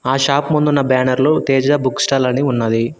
ఆ షాప్ ముందున్న బ్యానర్ లో తేజ బుక్ స్టాల్ అని ఉన్నది.